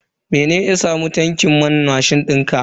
Mene ya samu tankin man mashin dinka?